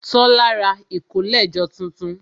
Tola ra ìkólẹ̀jọ tuntun